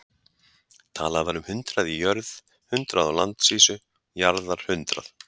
Talað var um hundrað í jörð, hundrað á landsvísu, jarðarhundrað.